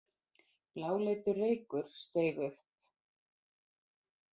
Bláleitur reykur steig upp.